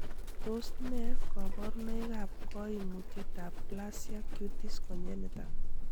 Tos nee koborunoikab koimutietatab plasia cutis congenita?